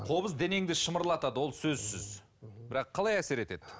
қобыз денеңді шымырлатады ол сөзсіз бірақ қалай әсер етеді